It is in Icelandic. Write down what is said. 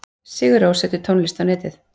Sigur Rós setur tónlist á netið